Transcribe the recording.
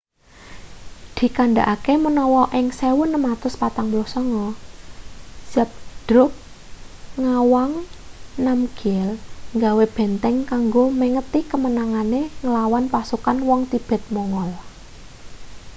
dikandhakake menawa ing 1649 zhabdrug ngawang namgyel gawe benteng kanggo mengeti kemenangane nglawan pasukan wong tibet-mongol